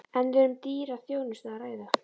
En er um dýra þjónustu að ræða?